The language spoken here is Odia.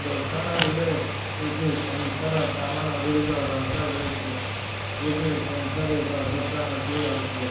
ଦୋକାନଟିରେ କିଛି କଂସାର ସାମାନ୍ ଗୁଡ଼ିକ ରଖାଯାଇଛି। ଗୋଟିଏ କଂସାରୀର ଦୋକାନଟିଏ ଅଛି।